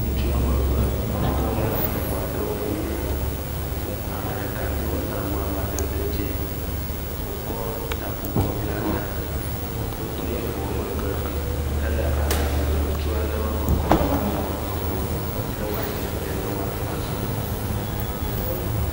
Ntsu woame eve wotɔ le eŋua ɖe wo megbe, ame ɖeka do awu amadede dz0, wòkɔ taku kɔ bla ta, wotɔ le ŋuɔ megbe hele aɖaŋu ɖe tso ale woakɔ kɔ awɔ eŋuɔ ne woadze te ne woa azɔ mɔ.